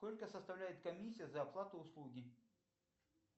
сколько составляет комиссия за оплату услуги